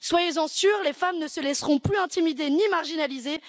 Soyez en sûrs, les femmes ne se laisseront plus intimider ni marginaliser.